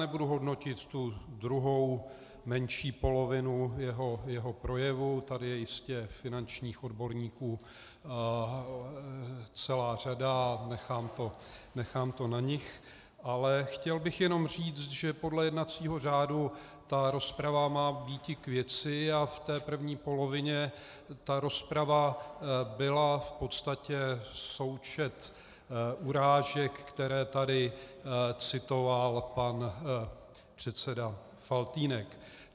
Nebudu hodnotit tu druhou, menší polovinu jeho projevu, tady je jistě finančních odborníků celá řada, nechám to na nich, ale chtěl bych jenom říct, že podle jednacího řádu rozprava má být k věci a v té první polovině ta rozprava byla v podstatě součet urážek, které tady citoval pan předseda Faltýnek.